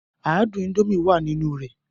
Adùn Indomie wá nínú rẹ̀